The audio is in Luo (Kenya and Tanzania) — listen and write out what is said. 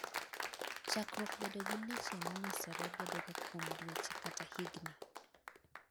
chakruok bedo gi leche monyosore bedo ga kuom dweche kata higni